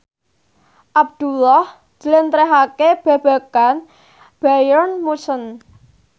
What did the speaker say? Abdullah njlentrehake babagan Bayern Munchen